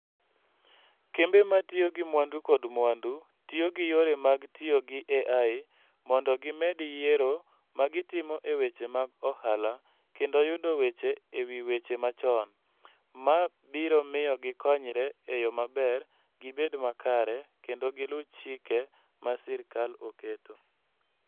Kembe ma tiyo gi mwandu kod mwandu tiyo gi yore mag tiyo gi AI mondo gimed yiero ma gitimo e weche mag ohala kendo yudo weche e wi weche machon, ma biro miyo gikonyre e yo maber, gibed makare, kendo giluw chike ma sirkal oketo.